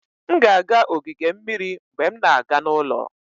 M ga-aga ogige mmiri mgbe m na-aga n'ụlọ